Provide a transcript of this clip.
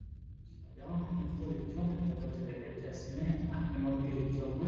Eganshiishsha yaa mittoricho dagate reqecci asine afinokirichonna